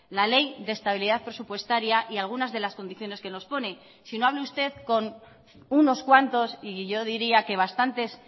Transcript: la ley de estabilidad presupuestaria y algunas de las condiciones que nos pone sino hable usted con unos cuantos y yo diría que bastantes